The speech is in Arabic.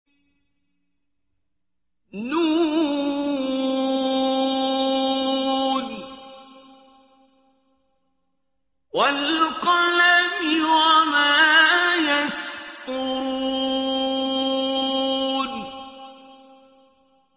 ن ۚ وَالْقَلَمِ وَمَا يَسْطُرُونَ